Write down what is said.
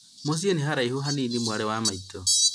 mũciĩ nĩ haraihu hanini mwarĩ wa maitũ